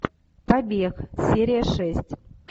побег серия шесть